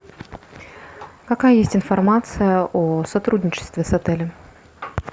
какая есть информация о сотрудничестве с отелем